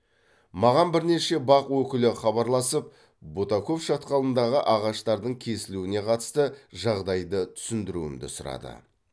маған бірнеше бақ өкілі хабарласып бутаков шатқалындағы ағаштардың кесілуне қатасты жағдайды түсіндіруімді сұрады